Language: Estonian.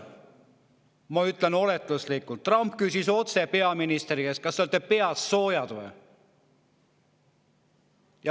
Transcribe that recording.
Ma ütlen oletuslikult, et Trump küsis peaministri käest otse: "Kas te olete peast soojad või?